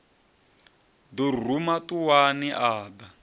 ḓo ruma ṱuwani a ḓa